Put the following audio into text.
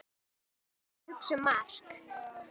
Hún var að hugsa um Mark.